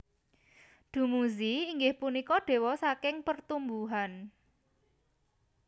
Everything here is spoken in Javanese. Dummuzi inggih punika dewa saking pertumbuhan